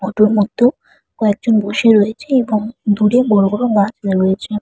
অটোর মধ্যেও কয়েকজন বসে রয়েছে এবং দূরে বড় বড় গাছ রয়েছে।